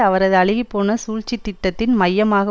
அவரது அழுகி போன சூழ்ச்சி திட்டத்தின் மையமாக